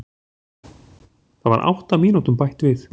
Það var átta mínútum bætt við